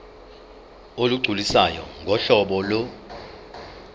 olugculisayo ngohlobo lo